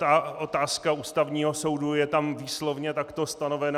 Ta otázka Ústavního soudu je tam výslovně takto stanovena.